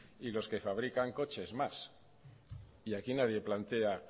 y los que fabrican coches más y aquí nadie plantea